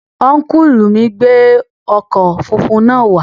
Ọ́nkùlù mi gbé ọkọ̀ funfun náà wá